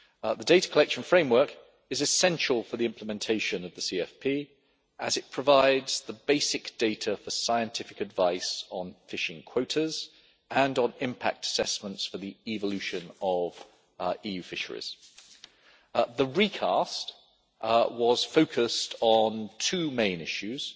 The data collection framework is essential for the implementation of the CFP as it provides the basic data for scientific advice on fishing quotas and on impact assessments for the evolution of EU fisheries. The recast was focused on two main issues.